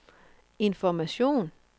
information